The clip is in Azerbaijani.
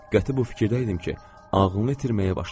Qəti bu fikirdəydim ki, ağlını itirməyə başlayıb.